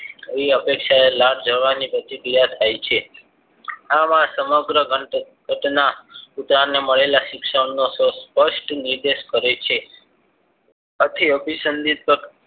એવી અપેક્ષાએ લાળ જરવાની પ્રતિક્રિયા થાય છે આવા સમગ્ર ઘટના કૂતરાને મળેલા અપેક્ષાનો સ્પષ્ટ નિર્દેશ કરે છે આથી અભિસંદિત